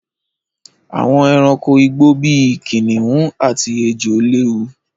Àwọn ẹranko igbó bí i kìnnìún àti ejò léwu.